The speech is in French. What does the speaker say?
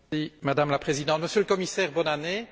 Madame la Présidente, Monsieur le Commissaire, bonne année.